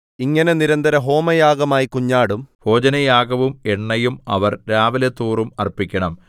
ഇങ്ങനെ നിരന്തരഹോമയാഗമായി കുഞ്ഞാടും ഭോജനയാഗവും എണ്ണയും അവർ രാവിലെതോറും അർപ്പിക്കണം